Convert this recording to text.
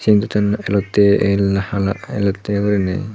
induton elottey el na hala elottey guriney.